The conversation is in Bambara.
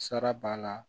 Sara b'a la